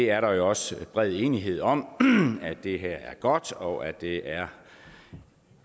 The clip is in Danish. er også bred enighed om at det her er godt og at det er